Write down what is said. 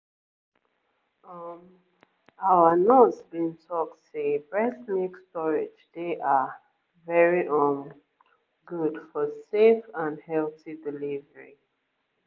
um our nurse been talk say breast milk storage dey ah very um good for safe and healthy delivery